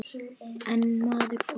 Einn maður fórst.